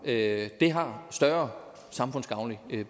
det har større samfundsgavnlig